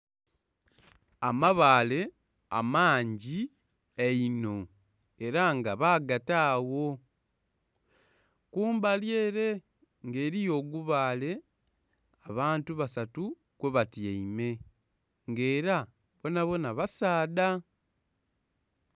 Amabaale amangi einho era nga baagata agho. Kumbali ele ng'eliyo ogubaale abantu basatu kwebatyaime, ng'era bonabona basaadha.